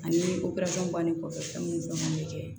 Ani bannen kɔfɛ fɛn mun man kɛ